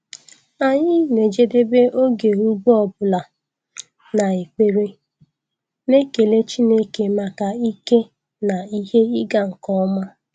Anyị na-ejedebe oge ugbo ọ bụla na ekpere, na-ekele Chineke maka ike na ihe ịga nke ọma.